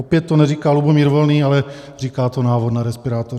Opět to neříká Lubomír Volný, ale říká to návod na respirátoru.